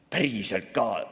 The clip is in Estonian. Päriselt ka!